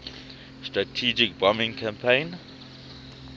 strategic bombing campaign